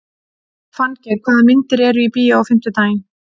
Fanngeir, hvaða myndir eru í bíó á fimmtudaginn?